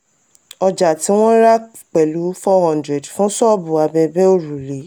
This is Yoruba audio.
ọjà tí wọ́n rà pẹ̀lú four hundred fún ṣọ́ọ̀bù abẹbẹ̀ òrùlé.